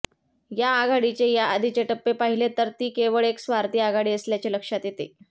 या आघाडीचे या आधीचे टप्पे पाहिले तर ती केवळ एक स्वार्थी आघाडी असल्याचे लक्षात येते